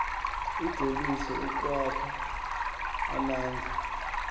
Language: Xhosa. ijolise ukwakha amandla